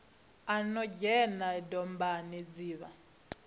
no dzhena dombani dzi vha